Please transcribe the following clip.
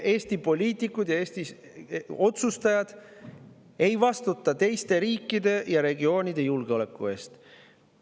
Eesti poliitikud ja otsustajad ei vastuta teiste riikide ega regioonide julgeoleku eest.